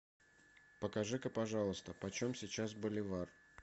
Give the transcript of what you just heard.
покажи ка пожалуйста почем сейчас боливар